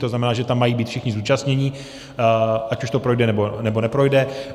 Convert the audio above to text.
To znamená, že tam mají být všichni zúčastnění, ať už to projde, nebo neprojde.